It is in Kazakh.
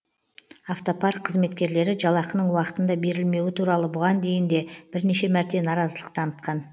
автопарк қызметкерлері жалақының уақытында берілмеуі туралы бұған дейін де бірнеше мәрте наразылық танытқан